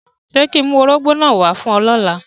Ṣe ki ń mu órogbó náa wa lọla?